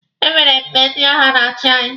E nwere mgbe ndi agha na-achi anyị.